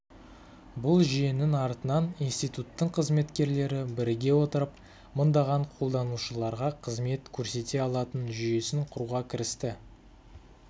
бұл жүйенің артынан институттың қызметкерлері біріге отырып мыңдаған қолданушыларға қызмет көрсете алатын жүйесін құруға кірісті